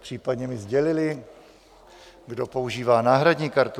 případně mi sdělili, kdo používá náhradní kartu.